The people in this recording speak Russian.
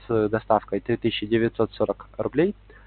с доставкой три тысячи девятьсот сорок рублей